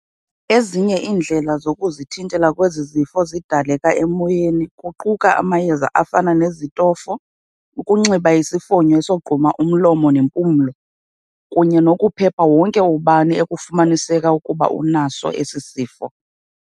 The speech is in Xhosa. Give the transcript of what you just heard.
Ezinye iindlela zokuzithintela kwezi zifo zidaleka emoyeni kuquka amayeza afana nezitofo, ukunxiba isifonyo esogquma umlomo ne nempumlo, kunye nokuphepha wonke ubani ekufumaniseka ukuba unaso esi sifo.